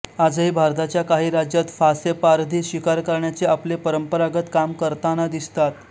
आजही भारताच्या काही राज्यात फासेपारधी शिकार करण्याचे आपले परंपरागत काम करतांना दिसतात